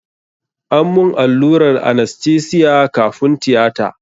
An mun allurar anastesiya kafun tiyata.